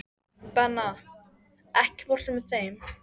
Benna, ekki fórstu með þeim?